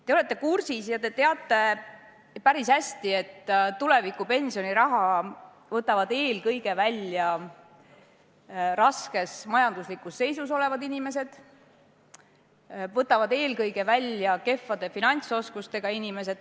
Te olete kursis ja teate päris hästi, et tuleviku pensioniraha võtavad eelkõige välja raskes majanduslikus seisus olevad inimesed, võtavad eelkõige välja kehvade finantsoskustega inimesed.